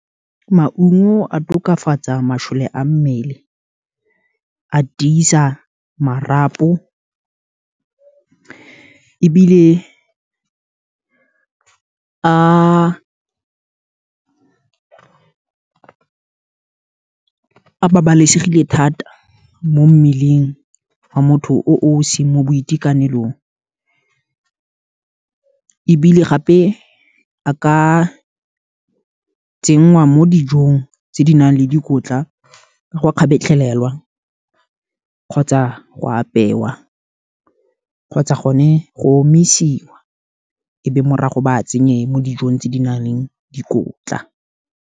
Maungo a tokafatsa, masole a mmele, a tiisa marapo, ebile a babalesegile thata, mo mmeleng wa motho o o seng mo boitekanelong, ebile gape a ka tsenngwa mo dijong, tse di nang le dikotla, ka go kgabetlhelelwa, kgotsa go apewa, kgotsa gone go omisiwa, ebe morago ba tsenye mo dijong tse di nang le dikotla.